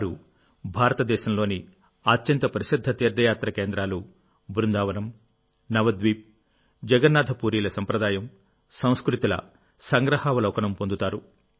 వారు భారతదేశంలోని అత్యంత ప్రసిద్ధ తీర్థయాత్ర కేంద్రాలు బృందావనం నవద్వీప్ జగన్నాథపూరీల సంప్రదాయంసంస్కృతిల సంగ్రహావలోకనం పొందుతారు